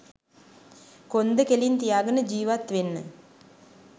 කොන්ද කෙලින් තියාගෙන ජිවත් වෙන්න